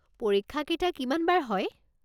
পৰীক্ষা কেইটা কিমান বাৰ হয়?